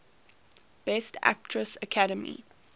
best actress academy